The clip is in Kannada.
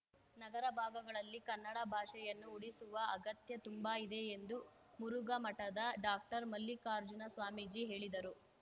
ನಗರ ಭಾಗಗಳಲ್ಲಿ ಕನ್ನಡ ಭಾಷೆಯನ್ನು ಉಳಿಸುವ ಅಗತ್ಯ ತುಂಬಾ ಇದೆ ಎಂದು ಮುರುಘಮಠದ ಡಾಕ್ಟರ್ ಮಲ್ಲಿಕಾರ್ಜುನ ಸ್ವಾಮೀಜಿ ಹೇಳಿದರು